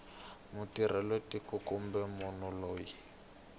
mutirhela tiko kumbe munhu loyi